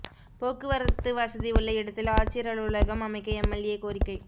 போக்குவரத்து வசதி உள்ள இடத்தில் ஆட்சியா் அலுவலகம் அமைக்க எம்எல்ஏ கோரிக்கை